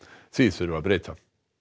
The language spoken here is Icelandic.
því þurfi að breyta